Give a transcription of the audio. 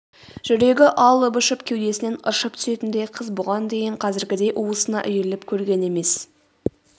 жүрегі алып-ұшып кеудесінен ыршып түсетіндей қыз бұған дейін қазіргідей уысына үйіріліп көрген емес